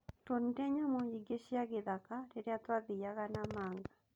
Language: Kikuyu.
Twonire nyamu nyingĩ cia gĩthaka rĩrĩa twathiaga Namanga.